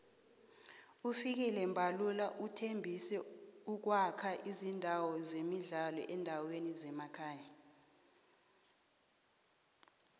ufikile mbalula uthembise ukuwakha izindawo zemidlalo eendaweni zemakhaya